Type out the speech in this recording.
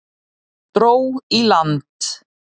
Dró í land